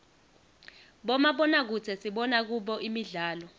bomabonakudze sibona kubo imdlalo